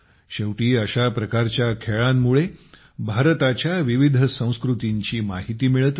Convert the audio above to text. शेवटी अशा प्रकारच्या खेळांमुळे भारताच्या विविध संस्कृतींची माहिती मिळत असते